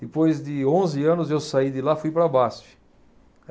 Depois de onze anos, eu saí de lá e fui para a Basfe.